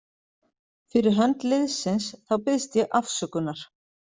Fyrir hönd liðsins þá biðst ég afsökunar.